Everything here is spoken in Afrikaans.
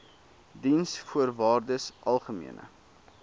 diensvoorwaardesalgemene